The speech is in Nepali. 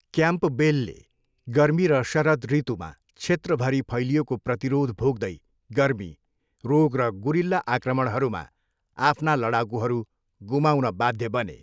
क्याम्पबेलले गर्मी र शरद ऋतुमा क्षेत्रभरि फैलिएको प्रतिरोध भोग्दै गर्मी, रोग र गुरिल्ला आक्रमणहरूमा आफ्ना लडाकुहरू गुमाउन बाध्य बने।